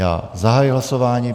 Já zahajuji hlasování.